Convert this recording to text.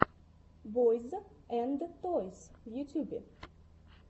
бойз энд тойс в ютьюбе